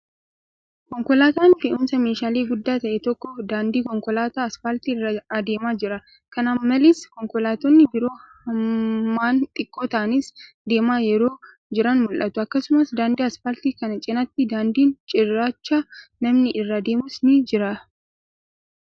Konkolaataan fe'uumsa meeshaalee guddaa ta'e tokko, daandii konkolaataa asfaaltii irra adeemaa jira. Kana malees, konkolaattonni biroo hammaan xiqqoo ta'anis deemaa yeroo jiran mul'atu. Akkasumas, daandii asfaaltii kana cinaatti daandiin cirrachaa namni irra deemus ni jira.